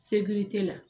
Segu t'i la